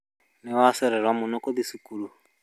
Nĩwaererwo mũno gũthii thukuru